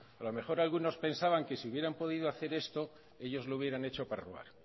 a lo mejor algunos pensaban que si hubieran podido hacer esto ellos lo hubieran hecho para robar